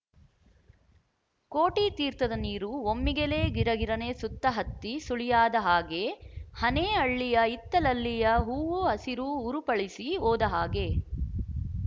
ಕೋಟಿತೀರ್ಥದ ನೀರು ಒಮ್ಮಿಗೆಲೇ ಗಿರಗಿರನೆ ಸುತ್ತಹತ್ತಿ ಸುಳಿಯಾದ ಹಾಗೆ ಹನೇಹಳ್ಳಿಯ ಹಿತ್ತಲಲ್ಲಿಯ ಹೂವು ಹಸಿರು ಹುರಪಳಿಸಿ ಹೋದ ಹಾಗೆ